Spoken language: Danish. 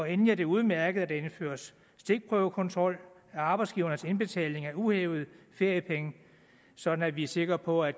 endelig er det udmærket at der indføres stikprøvekontrol af arbejdsgivernes indbetalinger af uhævede feriepenge sådan at vi er sikre på at